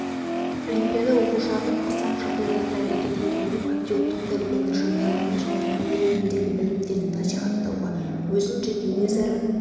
олимпиада оқушылардың қысаң жағдайларда әрекет етуіне патриоттық тәрбиенің жандануына және төңірегіндегі білімдерді насихаттауға өзін және өзара